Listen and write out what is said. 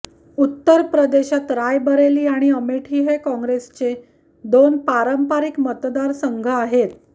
उत्तर प्रदेशात रायबरेली आणि अमेठी हे काँग्रेसचे दोन पारंपरिक मतदार संघ आहेत